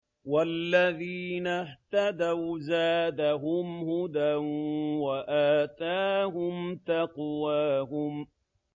وَالَّذِينَ اهْتَدَوْا زَادَهُمْ هُدًى وَآتَاهُمْ تَقْوَاهُمْ